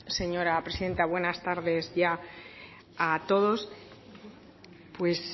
señora presidenta buenas tardes ya a todos pues